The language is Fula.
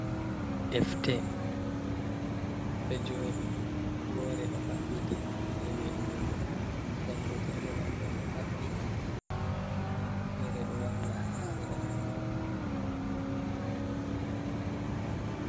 Defte ɗo jooɗi woore ɗo mabɓiti jee windugo nda jangetede man bo ɗo maɓɓi, nda wonde feere ɗo wanga ha seerani.